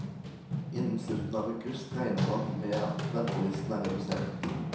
Innen slutten av august regner man med at ventelisten er redusert.